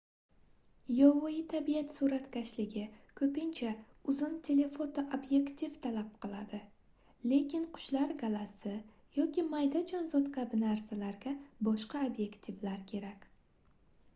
yovvoyi tabiat suratkashligi koʻpincha uzun telefoto obyektiv talab qiladi lekin qushlar galasi yoki mayda jonzot kabi narsalarga boshqa obyektivlar kerak